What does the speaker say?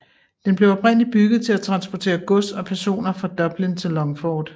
Den blev oprindeligt bygget til at transportere gods og personer fra Dublin til Longford